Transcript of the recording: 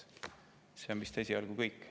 See on vist esialgu kõik.